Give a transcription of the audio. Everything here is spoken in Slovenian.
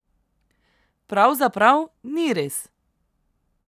Pravzaprav ni res.